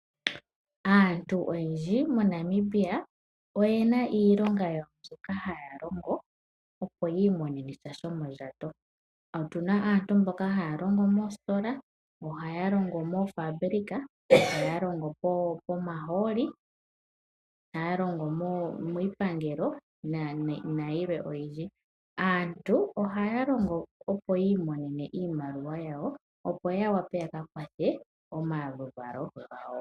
Aantu oyendji moNamibia oye na iilonga yawo mbyoka haya longo, opo yi imonene sha shomondjato. Otu na aantu mboka haya longo moositola, yamwe ohaa longo moofabulika, yamwe ohaya longo pomahooli, yamwe ohaya longo miipangelo nopalwe opendji. Aantu ohaa longo opo yi imonene iimaliwa yawo, opo ya wape ya ka kwathe omaluvalo gawo.